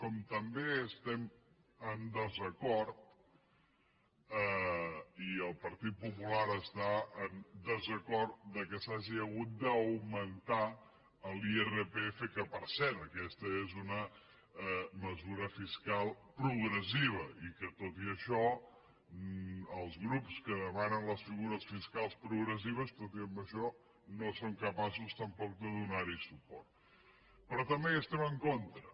com també estem en desacord i el partit popular està en desacord que s’hagi hagut d’augmentar l’irpf que per cert aquesta és una mesura fiscal progressiva i que tot i això els grups que demanen les figures fiscals progressives tot i amb això no són capaços tampoc de donar hi suport però també hi estem en contra